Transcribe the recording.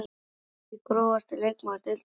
Veit það ekki Grófasti leikmaður deildarinnar?